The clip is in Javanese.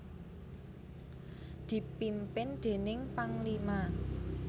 dipimpin déning Panglima